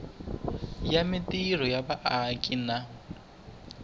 ya mintirho ya vaaki na